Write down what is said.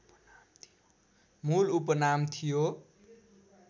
मूल उपनाम थियो